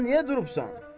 Daha niyə durubsan?